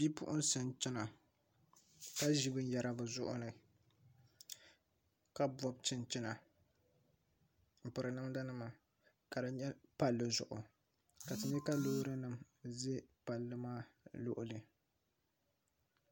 Bipuɣunsi n chɛna ka ʒi binyɛra bi zuɣuri ni ka pobi chinchina n pirinamda nima ka di nyɛ palli zuɣu ka loori nim ʒɛ palli maa luɣuli